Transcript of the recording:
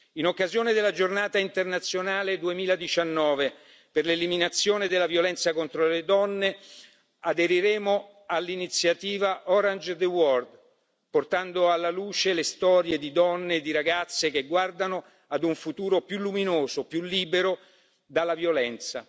In occasione della Giornata internazionale 2019 per l'eliminazione della violenza contro le donne aderiremo all'iniziativa Orange the World portando alla luce le storie di donne e di ragazze che guardano a un futuro più luminoso e più libero dalla violenza.